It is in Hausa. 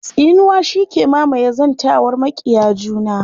Tsinuwa shi ke mamaye zantawar maƙiya juna.